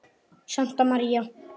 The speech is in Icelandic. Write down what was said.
Brynja María.